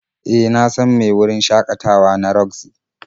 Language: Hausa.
E, na san mai wurin shakatawa na roxy.